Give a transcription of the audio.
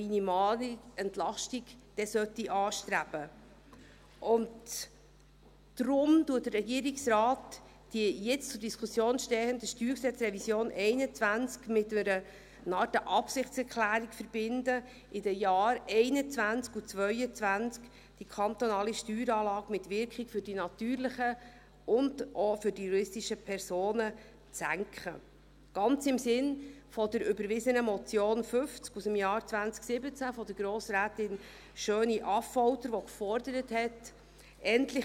Deshalb verbindet der Regierungsrat die jetzt zur Diskussion stehende StG-Revision 2021 mit einer Art Absichtserklärung, die kantonale Steueranlage mit Wirkung für die natürlichen und auch die juristischen Personen in den Jahren 2021 und 2022 zu senken – ganz im Sinne der überwiesenen Motion 50 aus dem Jahr 2017 von Grossrätin Schöni-Affolter , die verlangte: «